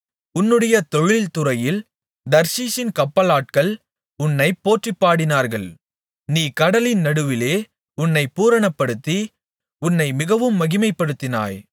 உன்னுடைய தொழில் துறையில் தர்ஷீசின் கப்பலாட்கள் உன்னைப் போற்றிப்பாடினார்கள் நீ கடலின் நடுவிலே உன்னைப் பூரணப்படுத்தி உன்னை மிகவும் மகிமைப்படுத்தினாய்